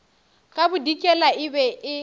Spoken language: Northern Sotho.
ka bodikela e be e